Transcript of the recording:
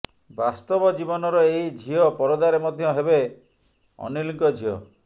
ବାସ୍ତବ ଜୀବନର ଏହି ଝିଅ ପରଦାରେ ମଧ୍ୟ ହେବେ ଅନୀଲଙ୍କ ଝିଅ